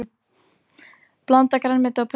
Blandað grænmeti á pönnu